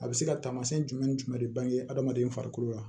A bɛ se ka taamasiyɛn jumɛn ni jumɛn de bange adamaden farikolo la